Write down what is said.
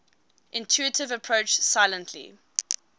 intuitive approach silently